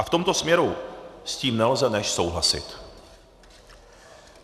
A v tomto směru s tím nelze než souhlasit.